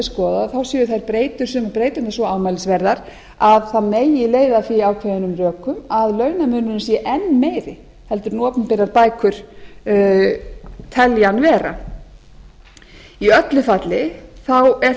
skoðað þá séu sumar breyturnar svo ámælisverðar að það megi leiða að því ákveðin rök að launamuninn sé enn meiri en opinberar bækur telja hann vera í öllu falli er